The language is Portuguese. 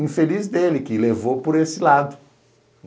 Infeliz dele que levou por esse lado.